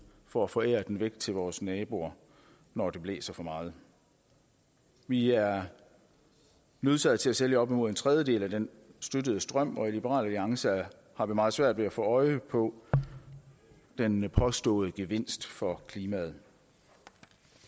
for at forære den væk til vores naboer når det blæser for meget vi er nødsaget til at sælge op imod en tredjedel af den støttede strøm og liberal alliance har meget svært ved at få øje på den påståede gevinst for klimaet